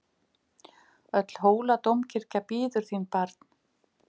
Öll Hóladómkirkja bíður þín barn!